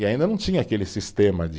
E ainda não tinha aquele sistema de